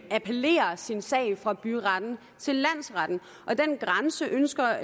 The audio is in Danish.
appellere sin sag fra byretten til landsretten og den grænse ønsker